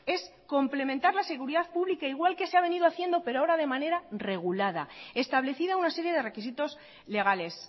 es complementar la seguridad pública igual que se ha venido haciendo pero ahora de manera regulada establecida una serie de requisitos legales